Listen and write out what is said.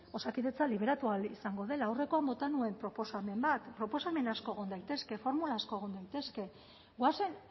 osakidetza liberatu ahal izango dela aurrekoan bota nuen proposamen bat proposamen asko egon daitezke formula asko egon daitezke goazen